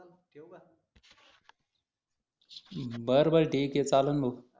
बरं बरं ठीक आहे चालेल भाऊ